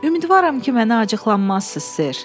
Ümidvaram ki, mənə acıqlanmazsız, Ser.